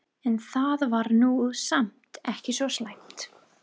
En það var nú samt ekki svo slæmt.